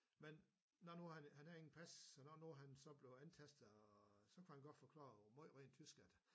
Men når nu han han havde ingen pas så når nu han så blev antastet og så kunne han godt forklare meget meget tysk at